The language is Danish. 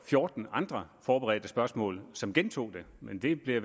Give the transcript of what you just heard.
fjorten andre forberedte spørgsmål som gentog det men det bliver